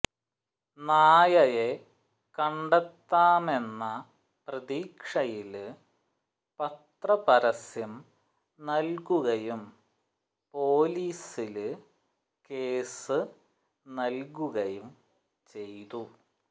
നായയെ കണ്ടെത്താമെന്ന പ്രതീക്ഷയില് പത്രപരസ്യം നല്കുകയും പോലീസില് കേസ് നല്കുകയും ചെയ്തു